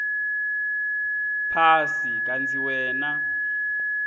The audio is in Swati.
phasi kantsi wena